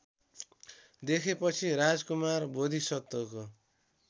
देखेपछि राजकुमार बोधिसत्वको